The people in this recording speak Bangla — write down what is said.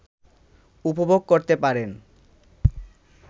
উপভোগ করতে পারেন